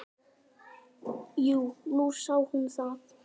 Jú, nú sá hún það.